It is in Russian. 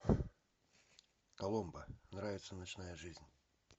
коломбо нравится ночная жизнь